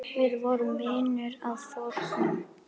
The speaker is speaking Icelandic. Við vorum vinir að fornu.